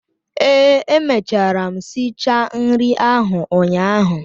Ee, emechara m si cha nri ahụ ụnyaahụ